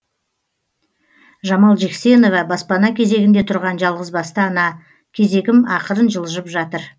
жамал жексенова баспана кезегінде тұрған жалғызбасты ана кезегім ақырын жылжып жатыр